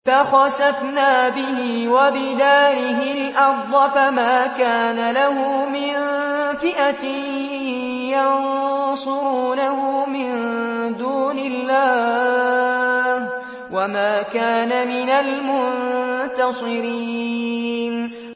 فَخَسَفْنَا بِهِ وَبِدَارِهِ الْأَرْضَ فَمَا كَانَ لَهُ مِن فِئَةٍ يَنصُرُونَهُ مِن دُونِ اللَّهِ وَمَا كَانَ مِنَ الْمُنتَصِرِينَ